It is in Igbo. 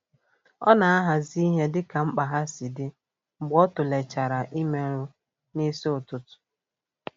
Ọ na-ahazị ihe dịka mkpa ha si dị mgbe o tụlechara imeelụ n'isi ụtụtụ.